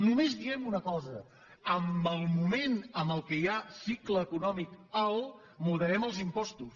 només diem una cosa en el moment en què hi ha cicle econòmic alt moderem els impostos